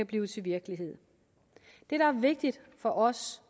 blive til virkelighed det der er vigtigt for os